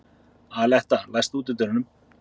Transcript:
Aletta, læstu útidyrunum.